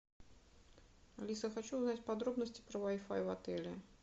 алиса хочу узнать подробности про вай фай в отеле